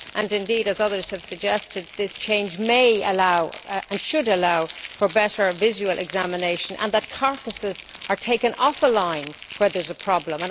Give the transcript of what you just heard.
And indeed, as others have suggested, this change may allow and should allow for better visual examination and for carcasses to be taken off the line where there is a problem.